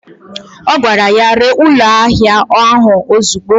O gwara ya, ree ụlọ ahịa ạhụ ozigbo!